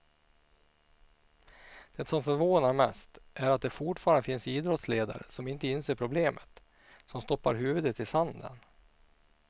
Det som förvånar mest är att det fortfarande finns idrottsledare som inte inser problemet, som stoppar huvudet i sanden.